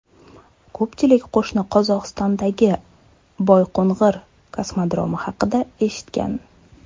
Ko‘pchilik qo‘shni Qozog‘istondagi Boyqo‘ng‘ir kosmodromi haqida eshitgan.